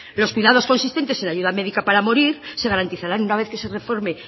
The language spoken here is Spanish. los cuidados consistentes en ayuda médica para morir se garantizarán una vez que se reforme el